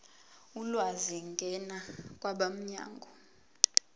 ulwazi ngena kwabomnyango